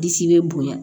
Disi bɛ bonya